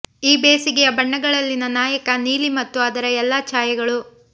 ಈ ಬೇಸಿಗೆಯ ಬಣ್ಣಗಳಲ್ಲಿನ ನಾಯಕ ನೀಲಿ ಮತ್ತು ಅದರ ಎಲ್ಲಾ ಛಾಯೆಗಳು